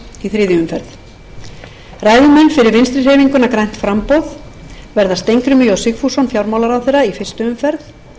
í þriðju umferð ræðumenn fyrir vinstri hreyfinguna grænt framboð verða steingrímur j sigfússon fjármálaráðherra í fyrstu umferð